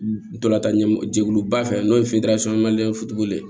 Ntolan tan ɲɛjɛkuluba fɛ n'o ye ye